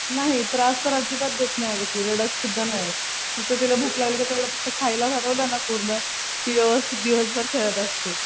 नाही त्रास तर अजिबात देतं नाही अगं ती. रडतसुद्धा पण नाही. फक्त तिला भूक लागली कि, तेवढं फक्त खायला घालवलं ना पूर्ण ती व्यवस्थित दिवसभर खेळात असते.